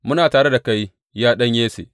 Muna tare da kai, ya ɗan Yesse!